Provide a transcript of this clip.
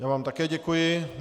Já vám také děkuji.